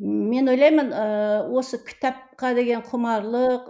мен ойлаймын ыыы осы кітапқа деген құмарлық